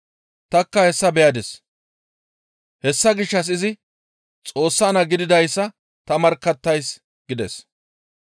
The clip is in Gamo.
Tanikka hessa beyadis. Hessa gishshas izi Xoossa naa gididayssa ta markkattays» gides.